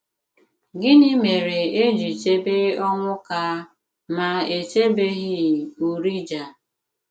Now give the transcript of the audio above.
Gịnị mèrè è jì chèbè Onwuka, mà è chèbèghị Urijah?